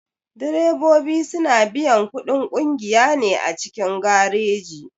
Direbobi suna biyan kuɗin ƙungiya ne a cikin gareji.